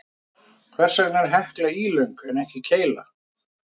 Hvers vegna er Hekla ílöng en ekki keila?